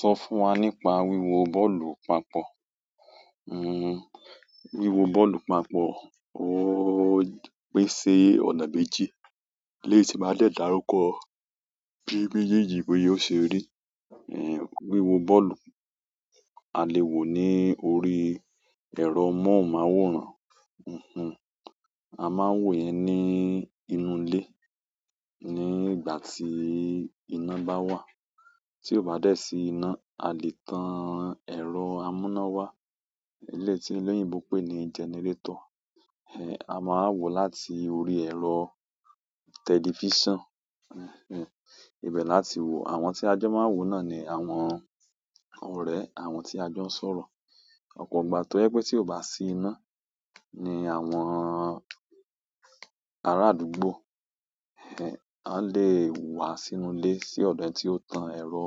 Sọ fún wa nípa wíwo bọ́ọ̀lù papọ̀. Wíwo bọ́ọ̀lù papọ̀ ó pín ṣi ọ̀nà méjì. Nisìn má dẹ̀ dàrúkọ bí mejéjí bi o ṣe rí. Èéh, wíwo bọ́ọ̀lù a lè wò ní orí ẹ̀rọ móhùnmáwòrán, a máa ń wò yẹn ní inú ilé ní ìgbà tí ìná bá wà. Tí ò bá dé sí iná, a lè tàn ẹ̀rọ amúnáwá, eléyìí tii eleyinbo pé ni generator. Èéh, a máa wò láti orí ẹ̀rọ television, èéh, ibẹ̀ láti wò àwọn tí ajo máa ń wò náà ni àwọn ọ̀re àwọn tí ajo ń sọ̀rọ̀. Ọ̀pọ̀ ìgbà tó jẹ pé tí ò bá sí iná ni àwọn ará àdúgbò, èéh, a lè wá sínú ilé sí ọ̀dọ̀ ẹni tí ó tan ẹ̀rọ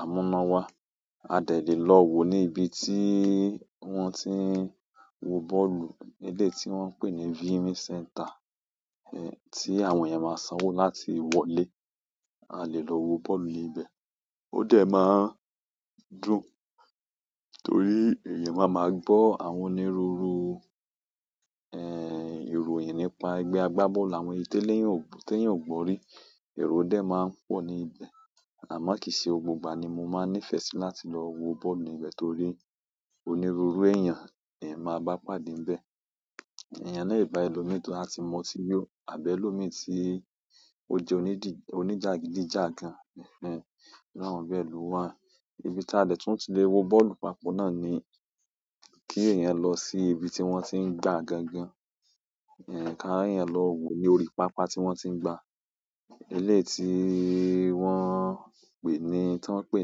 amúnáwá. A dẹ̀ le lọ wò ní ibi tí wọ́n ti ń wo bọ́ọ̀lù ní eleyii tí wọ́n ń pè ní "viewing center", èéh, tí àwọn èèyàn máa sanwó láti wọlé, a lè lọ wo bọ́ọ̀lù ní ibẹ̀. Ó dẹ̀ máa ń dùn torí èèyàn máa ma gbọ́ àwọn onírúurú, èéh, ìròyìn nípa ẹgbẹ́ agbábọ́ọ̀lù àwọn èyí tí eléyàn ò, tí èèyàn ò gbọ́ rí. Erò dẹ̀ máa ń pọ̀ ní ibẹ̀ àmọ́ kìí ṣe gbogbo ìgbà ni mo máa ń nífẹ̀ẹ́ sí láti lọ wo bọ́ọ̀lù ní ibẹ̀ torí onírúurú èèyàn èyan máa bá pàdé níbẹ̀. Ẹ̀yàn le bá ẹlòmí toba tì mun oti yó àbí èlòmíràn tí ó jẹ́ onídì, oníjàgídíjàgan, èéh, iru àwọn be lo wá. Ibi tí a lè tún ti lè wo bọ́ọ̀lù papọ̀ náà ni kí èèyàn lọ sí ibi tí wọ́n ti ń gbá gangan, èéh, ká èèyàn lọ wò ní orí pápá tí wọ́n ti ń gbá. Eléyi tíí wọ́n ń pè ní, tí wọ́n ń pè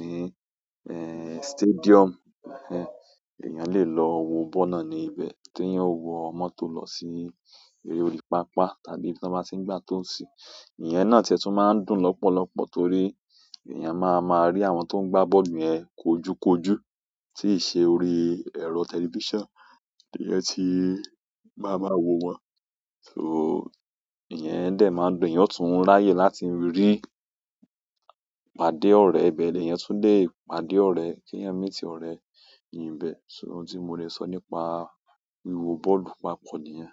ní, èéh, stadium, èéh, èèyàn lè lọ wo bọ́ọ̀lù náà ní ibẹ̀ tí èèyàn ó wọ mọ́tò lọ sí orí pápá tàbí ibi tí wọ́n bá tí ń gbá tó sì. Ìyẹn náà tìẹ tún máa ń dùn lọ́pọ̀lọ́pọ̀ torí èèyàn máa ma rí àwọn tó ń gbá bọ́ọ̀lù yẹn kojúkojú tìí ṣe orí ẹ̀rọ television tí èèyàn tí í ma máa wò wọ́n. So èèyàn dẹ̀ máa dùn, èèyàn tún ń láyè láti rí pàdé ọ̀rẹ́ ibẹ̀, lèyàn tún lè pàdé ọ̀rẹ́ kí èèyàn meet ọ̀rẹ́ ni bẹ̀. So, ohun ti mo le so ni pa wiwo ball papọ̀ niyen.